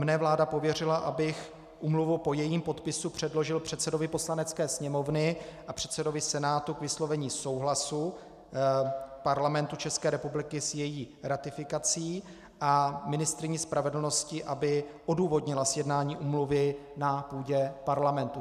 Mne vláda pověřila, abych úmluvu po jejím podpisu předložil předsedovi Poslanecké sněmovny a předsedovi Senátu k vyslovení souhlasu Parlamentu České republiky s její ratifikací a ministryni spravedlnosti, aby odůvodnila sjednání úmluvy na půdě Parlamentu.